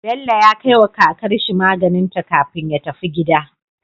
Bello ya kai wa kakar shi maganinta kafin ya tafi gida